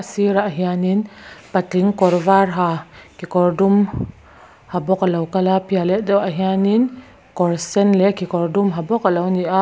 a sirah hianinv patling kawr vak ha kekawr dum ha bawk a lo kal a a piah leh deuhah hianin kawr sen leh kekawr dum ha bawk a lo ni a.